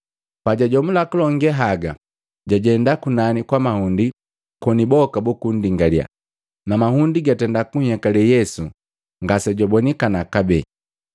Pajajomula kulonge haga, jajenda kunani kwa mahundi, koni boka buku ndingaliya, na mahundi gatenda kunhyekale Yesu ngase jwabonikana kabee.